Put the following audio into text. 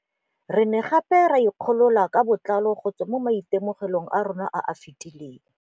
Re ne gape re ikgolola ka botlalo go tswa mo maitemogelong a rona a a fetileng.